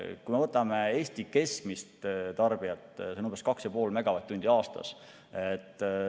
Kui me võtame Eesti keskmise tarbija, siis see on umbes 2,5 megavatt-tundi aastas.